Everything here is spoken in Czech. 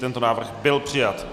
Tento návrh byl přijat.